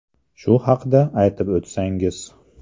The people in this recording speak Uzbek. Shu haqda aytib o ‘tsangiz.